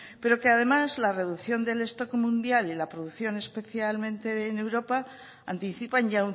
pero que además la reducción del stock mundial y la producción especialmente en europa anticipan ya